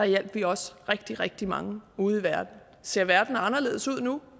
hjalp vi også rigtig rigtig mange ude i verden ser verden anderledes ud nu